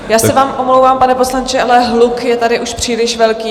Já se vám omlouvám, pane poslanče, ale hluk je tady už příliš velký.